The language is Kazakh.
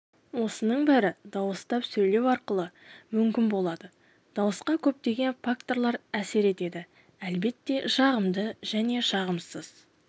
осының бәрі дауыстап сөйлеу арқылы мүмкін болады дауысқа көптеген факторлар әсер етеді әлбетте жағымды және жағымсыз